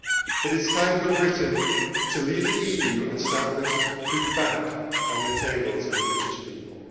It is time for Britain to leave the EU and start putting food back on the tables of the British people.